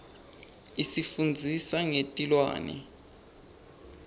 isifundzisa ngetilwane